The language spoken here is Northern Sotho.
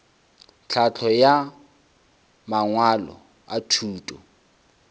tlhahlo ya mangwalo a thuto